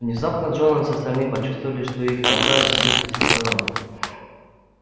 внезапно джонс и остальные почувствовали что их толкают и бьют со всех сторон